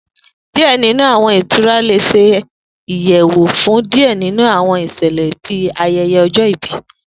Diẹ ninu Awọn itura le ṣe iyalo fun diẹ ninu awọn iṣẹlẹ bii ayẹyẹ ọjọ-ibi.